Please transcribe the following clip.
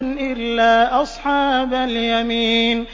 إِلَّا أَصْحَابَ الْيَمِينِ